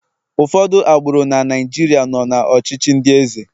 ụfọdụ agbụrụ na Naijiria nọ na ọchịchị ndi eze